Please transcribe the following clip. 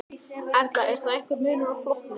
Erla: Er þá einhver munur á flokkum?